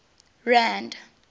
rand